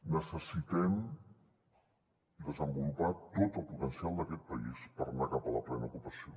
necessitem desenvolupar tot el potencial d’aquest país per anar cap a la plena ocupació